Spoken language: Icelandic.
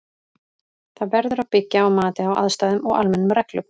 Það verður að byggja á mati á aðstæðum og almennum reglum.